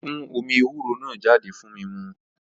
Ó fún omí ewúro náà jáde fún mímu